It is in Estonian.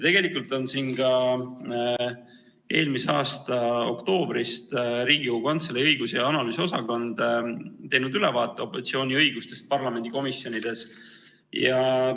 Tegelikult on ka Riigikogu Kantselei õigus- ja analüüsiosakond teinud eelmise aasta oktoobris ülevaate opositsiooni õigustest parlamendikomisjonides.